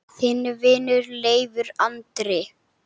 Þinn vinur, Leifur Andri.